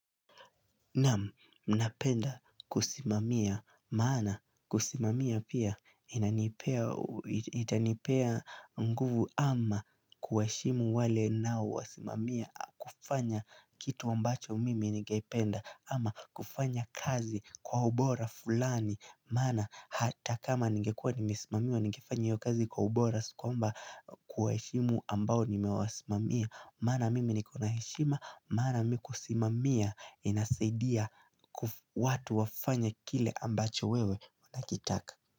Napenda kusimamia maana kusimamia pia itanipa nguvu ama kuwa heshimu wale ninao wasimamia kufanya kitu ambacho mimi ningependa ama kufanya kazi kwa ubora fulani Mana hata kama ningekuwa nimesimamiwa ningefanya iyo kazi kwa ubora si kwamba kwa heshimu ambao nimewasimamia Mana mimi niko na heshima, maana mimiku simamia inasaidia watu wafanye kile ambacho wewe unakitaka.